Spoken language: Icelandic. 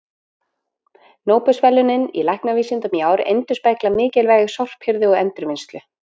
Nóbelsverðlaunin í læknavísindum í ár endurspegla mikilvægi sorphirðu og endurvinnslu.